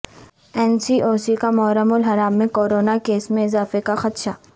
N C O C کا محرم الحرام میں کورونا کیسز میں اضافے کا خدشہ